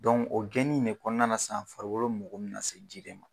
o gɛnin de kɔnɔna na sisan farikolo mago bɛ na se ji de ma.